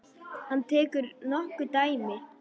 Hann tekur nokkur dæmi.